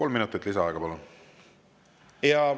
Kolm minutit lisaaega, palun!